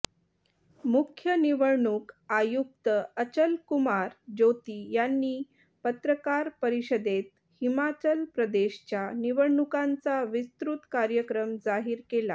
मुख्य निवडणूक आयुक्त अचलकुमार ज्योती यांनी पत्रकार परिषदेत हिमाचल प्रदेशच्या निवडणुकांचा विस्तृत कार्यक्रम जाहीर केला